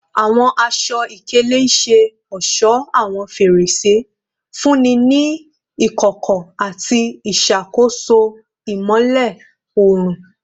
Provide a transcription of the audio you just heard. Awọn aṣọ-ikele ṣe ọṣọ awọn ferese, nfunni ni ikọkọ ati iṣakoso imọlẹ oorun